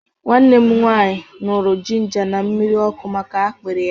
Nwanne m nwaanyị ñụrụ jinja na mmiri ọkụ maka akpịrị ya.